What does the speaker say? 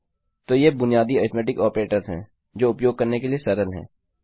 तो ये बुनियादी अरिथ्मेटिक ऑपरेटर्स हैं जो उपयोग करने के लिए सरल हैं